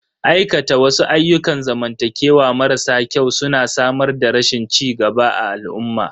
Aikata wasu ayyukan zamantakewa marasa kyau su na samar da rashin cigaba a al'umma.